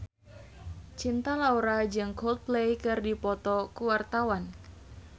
Cinta Laura jeung Coldplay keur dipoto ku wartawan